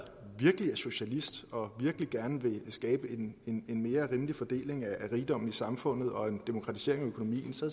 virkelig er socialist og virkelig gerne vil skabe en en mere rimelig fordeling af rigdommen i samfundet og en demokratisering af økonomien så